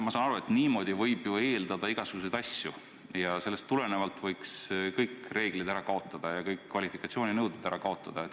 Ma saan aru, et niimoodi võib ju eeldada igasuguseid asju ja et sellest tulenevalt võiks kõik reeglid ja kõik kvalifikatsiooninõuded ära kaotada.